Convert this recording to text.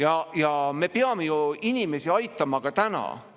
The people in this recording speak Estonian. Aga me peame ju inimesi aitama ka täna.